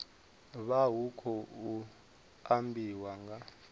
vha hu khou ambiwa nga